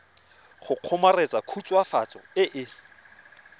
go kgomaretsa khutswafatso e e